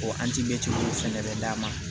O fɛnɛ bɛ d'a ma